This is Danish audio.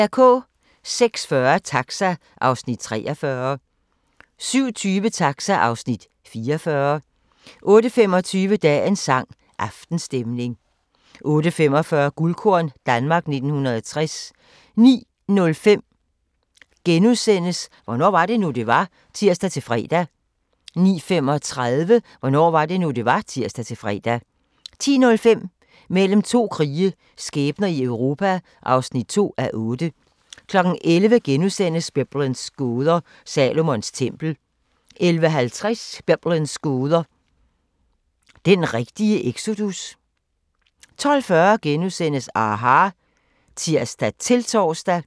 06:40: Taxa (Afs. 43) 07:20: Taxa (Afs. 44) 08:25: Dagens sang: Aftenstemning 08:45: Guldkorn - Danmark 1960 09:05: Hvornår var det nu, det var? *(tir-fre) 09:35: Hvornår var det nu, det var? (tir-fre) 10:05: Mellem to krige – skæbner i Europa (2:8) 11:00: Biblens gåder – Salomons tempel * 11:50: Biblens gåder – den rigtige exodus? 12:40: aHA! *(tir-tor)